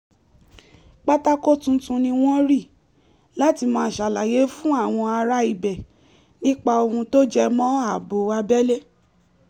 pátákó tuntun ni wọ́n rì láti máa ṣàlàyé fún àwọn ará ibẹ̀ nípa ohun tó jẹ mọ́ ààbò abẹ́lé